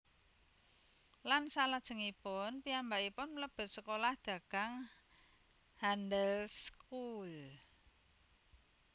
Lan salajengipun piyambakipun mlebet sekolah dagang Handelsschool